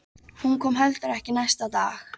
Hún kom heldur ekki næsta dag.